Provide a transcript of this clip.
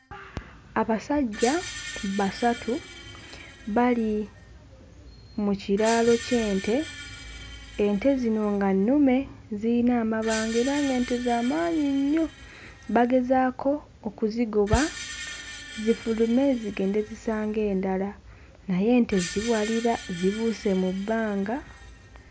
Abasajja basatu bali mu kiraalo ky'ente ente zino nga nnume ziyina amabango era ng'ente za maanyi nnyo bagezaako okuzigoba zifulume zigende zisange endala naye ente ziwalira zibuuse mu bbanga